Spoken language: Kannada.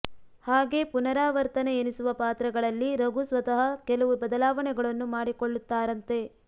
ಹಾಗೆ ಪುನರಾವರ್ತನೆ ಎನಿಸುವ ಪಾತ್ರಗಳಲ್ಲಿ ರಘು ಸ್ವತಃ ಕೆಲವು ಬದಲಾವಣೆಗಳನ್ನು ಮಾಡಿಕೊಳ್ಳುತ್ತಾರಂತೆ